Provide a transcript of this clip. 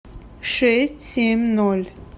шесть семь ноль